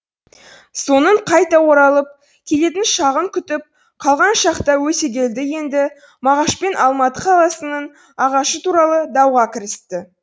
соның қайта оралып келетін шағын күтіп қалған шақта өтегелді енді мағашпен алматы қаласының ағашы туралы дауға кірісті